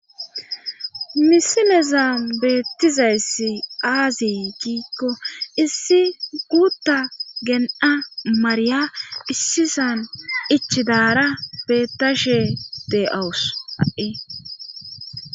Misileza beettizayssi aazi giikko issi guutta gen'a mariya issisan ichidaara bettashe de'awus ai.